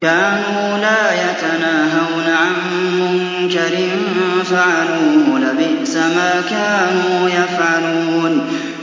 كَانُوا لَا يَتَنَاهَوْنَ عَن مُّنكَرٍ فَعَلُوهُ ۚ لَبِئْسَ مَا كَانُوا يَفْعَلُونَ